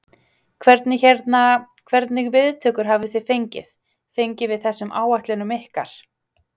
Hvernig hérna, hvernig viðtökur hafi þið fengið, fengið við þessum áætlunum ykkar?